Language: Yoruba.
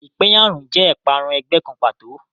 Ìpẹ̀yàrun jẹ́ ìparun ẹgbẹ́ kan pàtó.